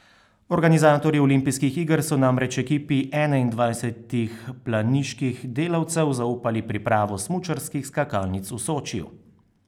Organizatorji olimpijskih iger so namreč ekipi enaindvajsetih planiških delavcev zaupali pripravo smučarskih skakalnic v Sočiju.